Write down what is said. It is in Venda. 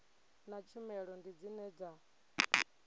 na tshumelo ndi dzine dza